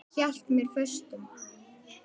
Hélt mér föstum.